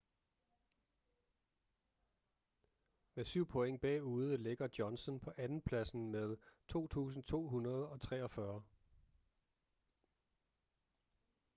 med syv point bagude ligger johnson på andenpladsen med 2.243